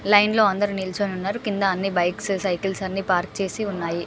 Line లో అందరు నిల్చొని ఉన్నారు కింద అన్ని బైక్స్ సైకిల్స్ అన్ని పార్క్ చేసి ఉన్నాయ్.